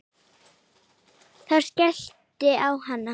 Ég skellti á hann.